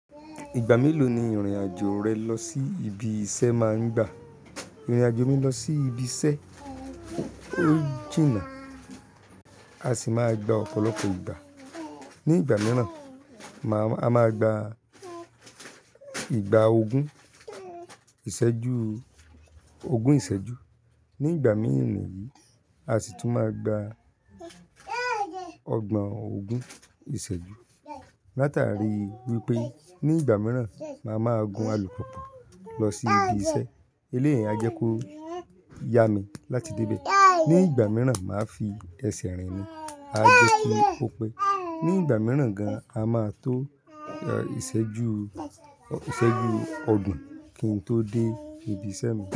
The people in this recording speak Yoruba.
Ìgbà mélòó ni ìrìn-àjò rẹ lọ sí ibi iṣẹ́ máa ń gba? Ìrìn-àjò mi lọ sí ibi iṣẹ́, ó jìnnà, a sì máa gba ọ̀pọ̀lọpọ̀ ìgbà. Ní ìgbà mìíràn, a máa gba ìgbà ogún ìṣẹ́jú, ogún ìṣẹ́jú. Ní ìgbà mìíràn yìí, a sì tún máa gba ọgbọ̀n ogún ìṣẹ́jú. Láta rí wípé ní ìgbà mìíràn, màá máa gun alùpùpù lọ sí ibi iṣẹ́. Eléèyi à jẹ́ kó yá mi láti dé ibẹ̀. Ní ìgbà mìíràn, màá fi ẹsẹ̀ rìn ni, a jẹ́ kí ó pẹ́. Ní ìgbà mìíràn gan, a máa tó ìṣẹ́jú, ìṣẹ́jú ọ̀gbon kí n tó dé ibi iṣẹ́ mi.